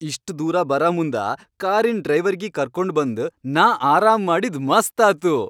ಇಷ್ಟ್ ದೂರ ಬರಾಮುಂದ ಕಾರಿನ್ ಡ್ರೈವರಿಗಿ ಕರ್ಕೊಂಡ್ ಬಂದ್ ನಾ ಆರಾಮ್ ಮಾಡಿದ್ ಮಸ್ತ್ ಆತು.